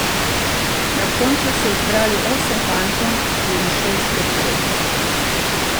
Na koncu so izbrali osem fantov in šest deklet.